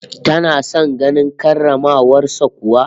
Tana son ganin karramawar sa kuwa?